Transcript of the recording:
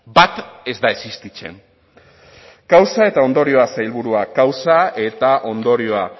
bat ez da existitzen kausa eta ondorioa sailburua kausa eta ondorioa